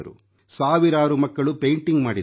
ಸಾವಿರಾರು ಮಕ್ಕಳು ಪೇಂಟಿಂಗ್ ಮಾಡಿದರು